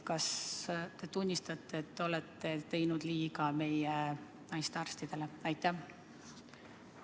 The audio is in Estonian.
Kas te tunnistate, et te olete teinud liiga meie naistearstidele?